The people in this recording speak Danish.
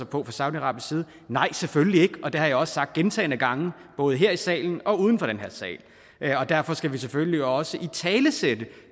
på fra saudiarabisk side nej selvfølgelig ikke og det har jeg også sagt gentagne gange både her i salen og uden for den her sal og derfor skal vi selvfølgelig også italesætte